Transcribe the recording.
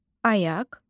Ayaq.